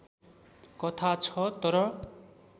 कथा छ तर